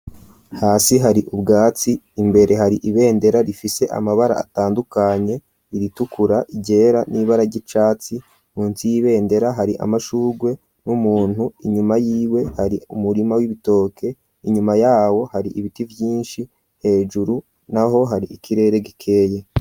Hasi hari ubwatsi imbere hari ibendera rifise amabara atandukanye iritukura, iryera n'ibara ry'icatsi, munsi y'ibendera hari amashurwe n'umuntu inyuma yiwe hari umurima w'ibitoke inyuma yawo hari ibiti vyinshi hejuru naho hari ikirere gikeye.